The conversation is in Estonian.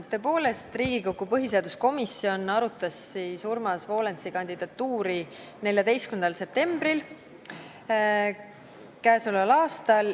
Tõepoolest, Riigikogu põhiseaduskomisjon arutas Urmas Volensi kandidatuuri k.a 14. septembril.